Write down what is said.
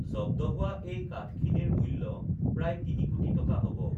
জব্দ হোৱা এই কাঠখিনিৰ মূ্ল্য প্ৰায় তিনিকোটি টকা হব